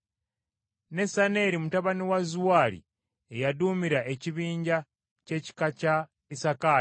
Nesaneri mutabani wa Zuwaali ye yaduumira ekibinja ky’ekika kya Isakaali,